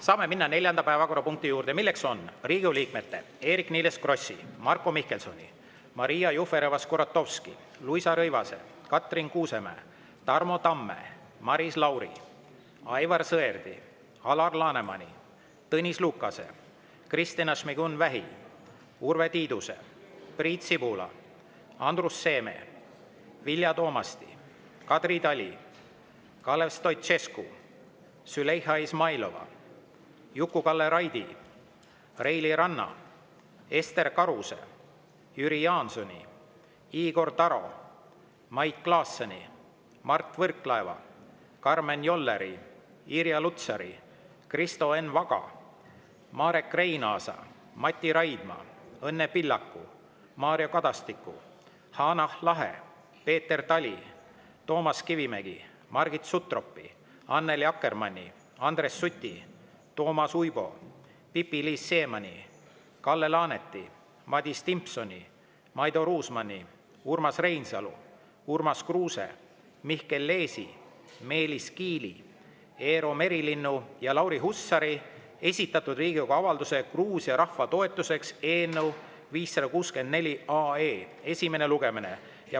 Saame minna neljanda päevakorrapunkti juurde, milleks on Riigikogu liikmete Eerik-Niiles Krossi, Marko Mihkelsoni, Maria Jufereva-Skuratovski, Luisa Rõivase, Katrin Kuusemäe, Tarmo Tamme, Maris Lauri, Aivar Sõerdi, Alar Lanemani, Tõnis Lukase, Kristina Šmigun-Vähi, Urve Tiiduse, Priit Sibula, Andrus Seeme, Vilja Toomasti, Kadri Tali, Kalev Stoicescu, Züleyxa Izmailova, Juku-Kalle Raidi, Reili Ranna, Ester Karuse, Jüri Jaansoni, Igor Taro, Mait Klaasseni, Mart Võrklaeva, Karmen Jolleri, Irja Lutsari, Kristo Enn Vaga, Marek Reinaasa, Mati Raidma, Õnne Pillaku, Mario Kadastiku, Hanah Lahe, Peeter Tali, Toomas Kivimägi, Margit Sutropi, Annely Akkermanni, Andres Suti, Toomas Uibo, Pipi-Liis Siemanni, Kalle Laaneti, Madis Timpsoni, Maido Ruusmanni, Urmas Reinsalu, Urmas Kruuse, Mihkel Leesi, Meelis Kiili, Eero Merilinnu ja Lauri Hussari esitatud Riigikogu avalduse "Gruusia rahva toetuseks" eelnõu 564 esimene lugemine.